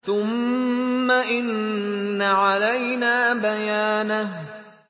ثُمَّ إِنَّ عَلَيْنَا بَيَانَهُ